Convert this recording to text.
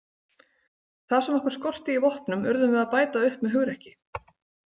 Það sem okkur skorti í vopnum urðum við að bæta upp með hugrekki.